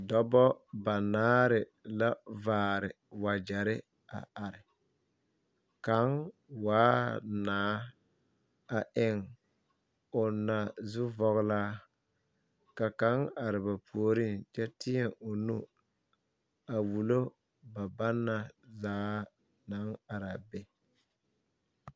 Dɔbɔ banaare la vaare wagyɛre a are kaŋ waa naa a eŋ o naa zuvɔglaa ka kaŋ are ba puoriŋ kyɛ teɛ o nu a wulo ba banna zaa naŋ are a be.